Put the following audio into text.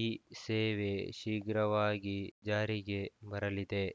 ಈ ಸೇವೆ ಶೀಘ್ರವಾಗಿ ಜಾರಿಗೆ ಬರಲಿದೆ